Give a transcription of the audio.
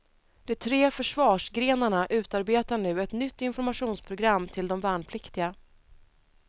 De tre försvarsgrenarna utarbetar nu ett nytt informationsprogram till de värnpliktiga.